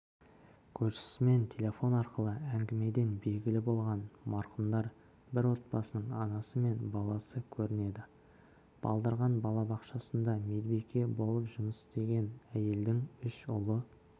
көршісімен телефон арқылы әңгімеден белгілі болғаны марқұмдар бір отбасының анасы мен баласы көрінеді балдырған балабақшасында медбике болып жұмыс істеген әйелдің үш ұлы